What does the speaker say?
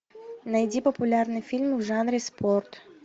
найди популярные фильмы в жанре спорт